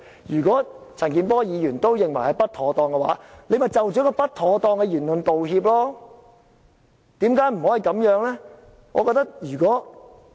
如果陳健波議員也認為不妥當的話，何君堯議員可以就不妥當的言論道歉，為何不可以這樣呢？